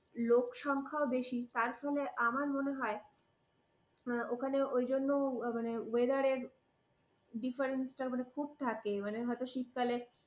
লোক সংখ্যা ও বেশি। তার জন্য আমার মনে হয় ওখানে ওই জন্য মানে weather difference টা খুব থাকে হয়তো শীতকালে।